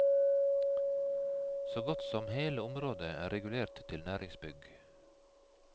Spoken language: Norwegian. Så godt som hele området er regulert til næringsbygg.